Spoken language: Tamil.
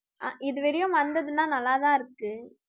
ஆஹ் இது வரையும் வந்ததுன்னா நல்லா தான் இருக்கு.